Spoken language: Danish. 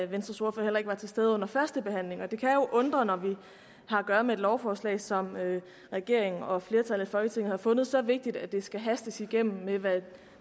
venstres ordfører heller ikke var til stede under førstebehandlingen og det kan jo undre når vi har at gøre med et lovforslag som regeringen og flertallet i folketinget har fundet så vigtigt at det skal hastes igennem med det